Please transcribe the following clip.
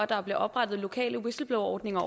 bakke op om whistleblowerordninger